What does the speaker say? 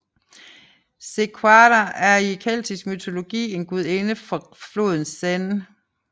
Sequana er i keltiske mytologi en gudinde for floden Seine